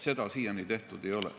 Seda siiani tehtud ei ole.